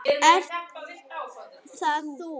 Ert það þú?